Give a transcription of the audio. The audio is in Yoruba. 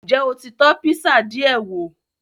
N jẹ o ti tọ́ písà diẹ wò